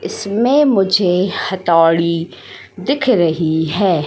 इसमें मुझे हथौड़ी दिख रही है।